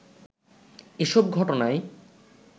এসব ঘটনায়